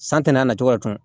San tɛn'a nacogo ka cun